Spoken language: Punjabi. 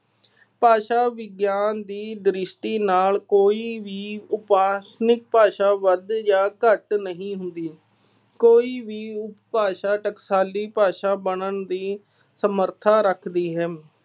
ਭਾਸ਼ਾ ਵਿਗਿਆਨ ਦੀ ਦ੍ਰਿਸ਼ਟੀ ਨਾਲ ਕੋਈ ਵੀ ਉਪਾਸਨਿਕ ਭਾਸ਼ਾ ਵੱਧ ਜਾਂ ਘੱਟ ਨਹੀਂ ਹੁੰਦੀ। ਕੋਈ ਵੀ ਉਪਭਾਸ਼ਾ ਟਕਸਾਲੀ ਭਾਸ਼ਾ ਬਣਨ ਦੀ ਸਮਰੱਥਾ ਰੱਖਦੀ ਹੈ।